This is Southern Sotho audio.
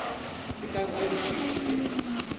e ka nka dikgwedi tse